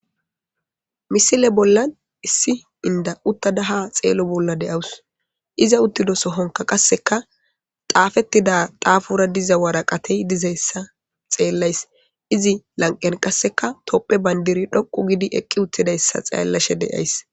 misile bolla issi inda uttadaha xeello bolla de7awus iza uttido sohonka qasseka xaafettida daafura diza waraqatey dizayssa xeellays izi lanqen qasseka topphe bayndiri dhoqu gidi eqqi uttidayssa xeellashe deyays